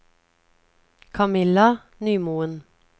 Kamilla Nymoen